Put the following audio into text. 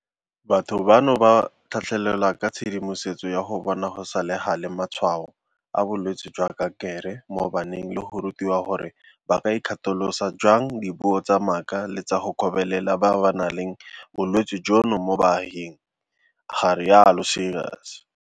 Batho bano ba tlhatlhelelwa ka tshedimosetso ya go bona go sa le gale matshwao a bolwetse jwa kankere mo baneng le go rutiwa gore ba ka ikgatolosa jang dipuo tsa maaka le tsa go kgobelela ba ba nang le bolwetse jono mo baaging, ga rialo Seegers.